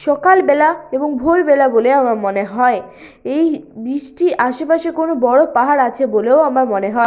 সকালবেলা এবং ভোরবেলা বলে আমার মনে হয় এই ব্রিজ -টির আশেপাশে কোন বড় পাহাড় আছে বলেও আমার মনে হয়।